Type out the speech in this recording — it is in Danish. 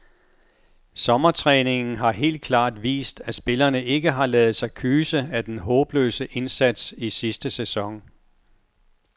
Sommertræningen har helt klart vist, at spillerne ikke har ladet sig kyse af den håbløse indsats i sidste sæson.